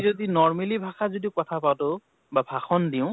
যদি normally ভাষাত যদি কথা পাতো, বা ভাষণ দিওঁ